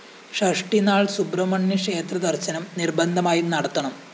ഷഷ്ഠി നാള്‍ സുബ്രഹ്മണ്യ ക്ഷേത്ര ദര്‍ശനം നിര്‍ബന്ധമായും നടത്തണം